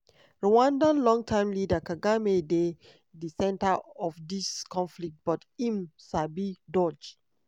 rwanda long-time leader kagame dey di centre of dis conflict but im sabi dodge.